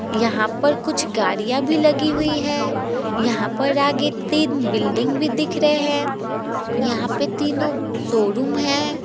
यहाँ पर कुछ गाड़ियां भी लगी हुई हैं यहाँ पर आगे तीन बिल्डिंग भी दिख रहे हैं यहाँ पे तीनों शोरूम हैं।